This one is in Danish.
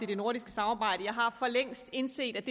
det nordiske samarbejde jeg har for længst indset at